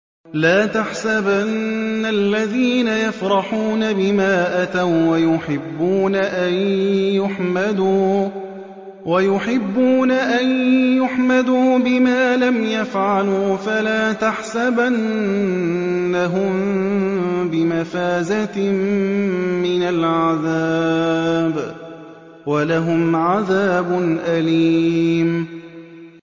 لَا تَحْسَبَنَّ الَّذِينَ يَفْرَحُونَ بِمَا أَتَوا وَّيُحِبُّونَ أَن يُحْمَدُوا بِمَا لَمْ يَفْعَلُوا فَلَا تَحْسَبَنَّهُم بِمَفَازَةٍ مِّنَ الْعَذَابِ ۖ وَلَهُمْ عَذَابٌ أَلِيمٌ